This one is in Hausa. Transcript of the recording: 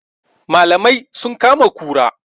Malamai sun kama kura